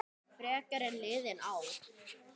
Frekar en liðin ár.